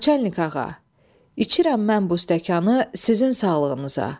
Naçalnik ağa, içirəm mən bu stəkanı sizin sağlığınıza.